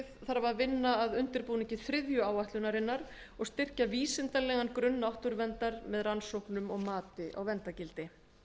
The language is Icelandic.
þarf að vinna að undirbúningi þriðju áætlunarinnar og styrkja vísindalegan grunn náttúruverndar með rannsóknum og mati á verndargildi